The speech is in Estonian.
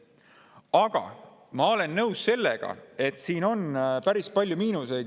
Aga ma olen nõus sellega, et siin on päris palju miinuseid.